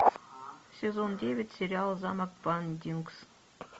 сезон девять сериал замок бландингс